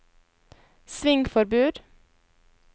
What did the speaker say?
svingforbud